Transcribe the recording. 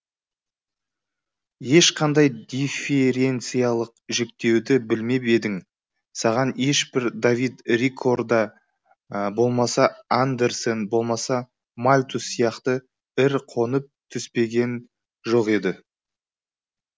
ешқандай диференциялық жіктеуді білмеп едің саған ешбір давид рикорда болмаса андерсен болмаса мальтус сияқты ір қонып түстенген жоқ еді